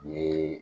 U ye